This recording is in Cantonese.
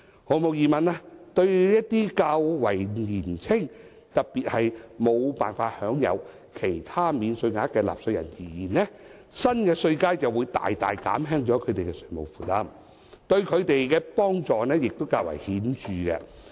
毫無疑問，對一些較為年輕，特別是無法享有其他免稅額的納稅人而言，新稅階會大大減輕他們的稅務負擔，對他們的幫助亦較為顯著。